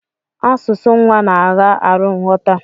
Asụsụ nwa na agha arụ nghọta.